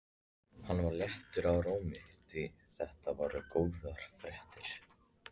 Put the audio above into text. Hann var léttur í rómi því þetta voru góðar fréttir.